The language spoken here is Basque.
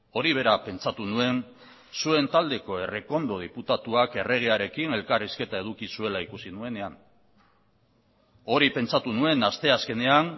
hori bera pentsatu nuen zuen taldeko errekondo diputatuak erregearekin elkarrizketa eduki zuela ikusi nuenean hori pentsatu nuen asteazkenean